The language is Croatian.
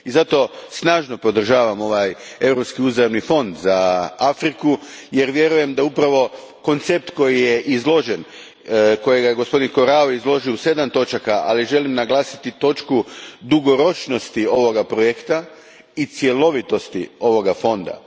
Zato snažno podržavam ovaj europski uzajamni fond za Afriku jer vjerujem da upravo koncept kojega je gospodin Corrao izložio u sedam točaka, ali želim naglasiti točku dugoročnosti ovoga projekta i cjelovitosti ovoga Fonda.